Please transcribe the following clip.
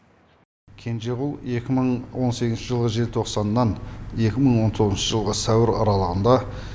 кенжеғұл екі мың он сегізінші жылы желтоқсаннан екі мың он тоғызыншы жылғы сәуір аралығында